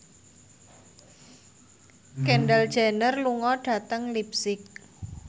Kendall Jenner lunga dhateng leipzig